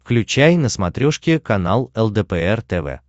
включай на смотрешке канал лдпр тв